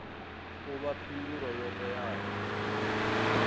u vha phindulo yo teaho